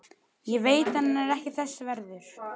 Ég veit hann er ekki þess verður.